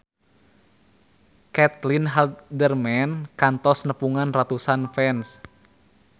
Caitlin Halderman kantos nepungan ratusan fans